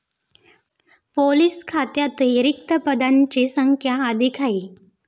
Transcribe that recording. Police खात्यातही रिक्त पदांची संख्या अधिक आहे.